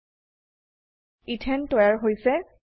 এথানে ইথেন তৈয়াৰ হৈছে